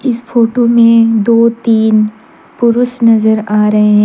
इस फोटो में दो तीन पुरुष नजर आ रहे--